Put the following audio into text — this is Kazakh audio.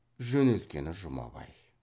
жөнелткені жұмабай